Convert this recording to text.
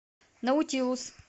наутилус